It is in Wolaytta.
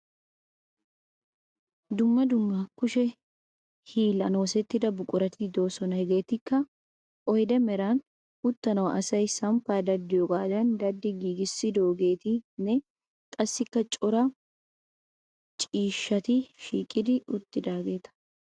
Dumma dumma kushe hiillan oosettida buqurati de'oosona. Hegeetikka oyde meran uttanawu asay samppaa daddiyogaadan daddi giigissidoogeetanne qassikka cora ciisshshati shiiqidi uttidaageeta.